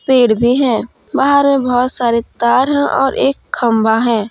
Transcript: पेड़ भी है बाहर में बहुत सारे तार है और एक खंभा है।